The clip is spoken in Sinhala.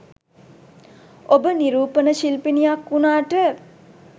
ඔබ නිරූපණ ශිල්පිණියක් වුණාට